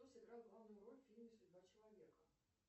кто сыграл главную роль в фильме судьба человека